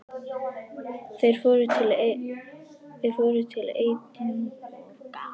Þeir fóru til Edinborgar.